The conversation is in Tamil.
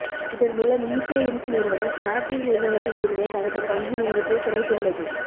இதன் மூலம் ஈபே இன்க் நிறுவனம் ஸ்னாப்டீல் நிறுவனத்தில் இருந்த தனது பங்கு இருப்பைக் குறைத்துள்ளது